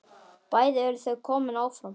Bæði eru þau komin áfram.